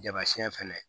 Jama siyɛn fɛnɛ